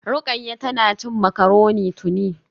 Rukayya tana cin macaroni tuni